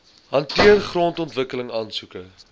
hanteer grondontwikkeling aansoeke